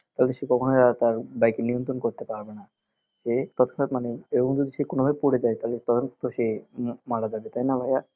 তাহলে সে কখনোই আর তার bike এর নিয়ন্ত্রণ করতে পারবে না এ মানে সে কোনোভাবে যদি পরে যায় তাহলে তখনতো সে মারা যাবে তাই না ভাইয়া